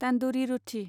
तान्दुरि रथि